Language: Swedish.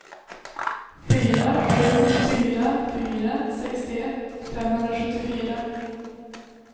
fyra sju fyra fyra sextioett femhundrasjuttiofyra